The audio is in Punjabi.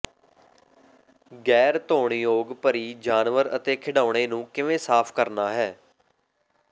ਗੈਰ ਧੋਣਯੋਗ ਭਰੀ ਜਾਨਵਰ ਅਤੇ ਖਿਡੌਣੇ ਨੂੰ ਕਿਵੇਂ ਸਾਫ ਕਰਨਾ ਹੈ